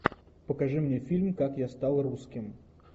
покажи мне фильм как я стал русским